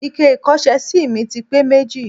Ike ìkọ́ṣẹ́sí mi ti pé méjì.